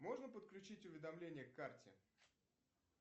можно подключить уведомление к карте